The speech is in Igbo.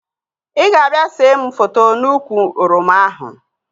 Ị ga-abịa see mụ foto n'úkwù oroma ahụ